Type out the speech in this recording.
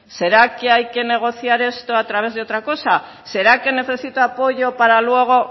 será que hay que negociar esto a través de otra cosa será que necesita apoyo para luego